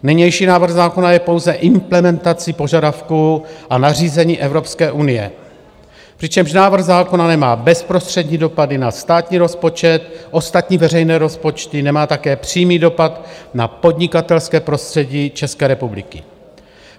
Nynější návrh zákona je pouze implementací požadavků a nařízení Evropské unie, přičemž návrh zákona nemá bezprostřední dopady na státní rozpočet, ostatní veřejné rozpočty, nemá také přímý dopad na podnikatelské prostředí České republiky.